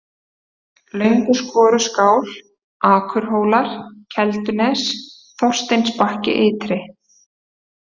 Lönguskoruskál, Akurhólar, Keldunes, Þorsteinsbakki-ytri